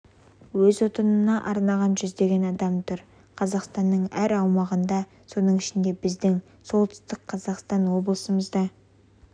өз отанына арнаған жүздеген адам тұр қазақстанның әр аумағында соның ішінде біздің солтүстік қазақстан облысымызда